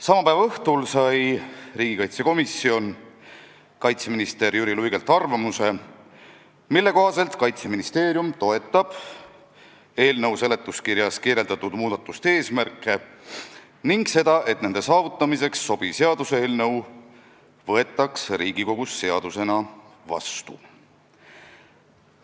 Sama päeva õhtul sai riigikaitsekomisjon kaitseminister Jüri Luigelt arvamuse, mille kohaselt Kaitseministeerium toetab eelnõu seletuskirjas kirjeldatud muudatuste eesmärke ning seda, et nende saavutamiseks sobiv seaduseelnõu võetakse Riigikogus seadusena vastu.